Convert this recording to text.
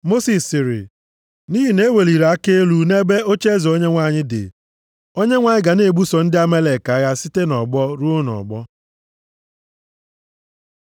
Mosis sịrị, “Nʼihi na-eweliri aka elu nʼebe ocheeze Onyenwe anyị dị. Onyenwe anyị ga na-ebuso ndị Amalek agha site nʼọgbọ ruo nʼọgbọ.”